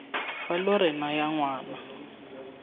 fa lo re naya ngwana